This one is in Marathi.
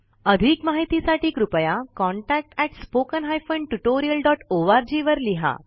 अधिक माहिती साठी कृपया contactspoken tutorialorg वर लिहा